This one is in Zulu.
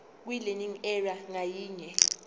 kwilearning area ngayinye